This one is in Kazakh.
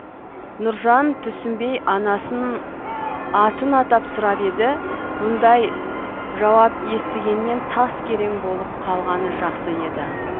нұржан түсінбей анасын атын атап сұрап еді бұндай жауап естігеннен тас керең болып қалғаны жақсы еді